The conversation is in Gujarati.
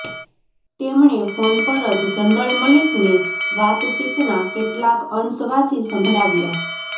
તેમણે ફોન પર જ જનરલ મલિકને વાતચીતના કેટલાક અંશ વાંચી સંભળાવ્યા